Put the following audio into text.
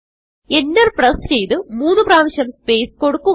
Enter press ചെയ്ത് മൂന്ന് പ്രാവിശ്യം സ്പേസ് കൊടുക്കുക